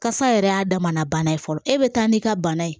Kasa yɛrɛ y'a damana bana ye fɔlɔ e bɛ taa n'i ka bana ye